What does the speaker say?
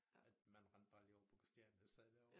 At man rendte bare lige over på Christinia og sad derovre